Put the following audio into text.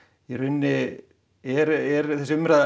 í rauninni er þessi umræða